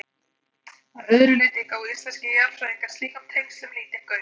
Að öðru leyti gáfu íslenskir jarðfræðingar slíkum tengslum lítinn gaum.